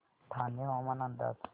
ठाणे हवामान अंदाज